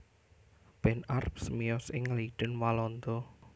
Ben Arps miyos ing Leiden Walanda